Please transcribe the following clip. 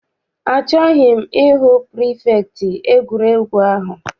Achọghị m I hụ pirifektị egwuregwu ahụ.